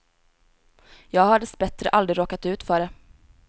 Jag har dessbättre aldrig råkat ut för det.